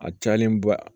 A cayalen ba